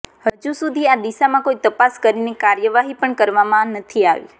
હજુસુધી આ દિશામાં કોઈ તપાસ કરીને કાર્યવાહી પણ કરવામાં નથી આવી